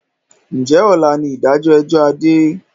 Ǹjẹ́ ọ̀la ni ìdájọ́ ẹjọ́ Adé?